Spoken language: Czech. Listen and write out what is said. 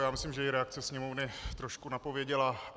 Já myslím, že i reakce Sněmovny trošku napověděla.